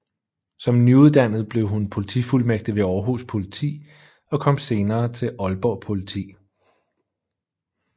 Som nyuddannet blev hun politifuldmægtig ved Århus Politi og kom senere til Aalborg Politi